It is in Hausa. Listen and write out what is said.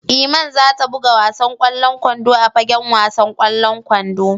Iman za ta buga wasan kwallon kwando a fagen wasan kwallon kwando.